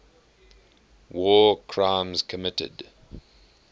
war crimes committed